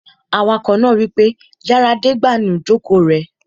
Awakọ̀ náà wípé, "yára de ìgbànú ìjòkó rẹ!"